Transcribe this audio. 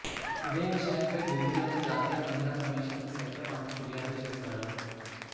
ఇదే విషయంపై ఢిల్లీలోని జాతీయ మహిళా కమీషన్కు సైతం ఆమె ఫిర్యాదు చేశారు